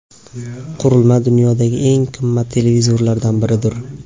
Qurilma dunyodagi eng qimmat televizorlardan biridir.